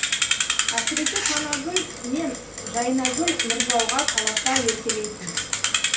әсіресе танагүл мен жайнагүл нұржауға таласа еркелейтін